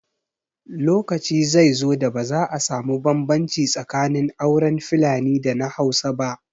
Lokaci zai zo da ba za a samu bambanci tsakanin auren Fulani da na Hausa ba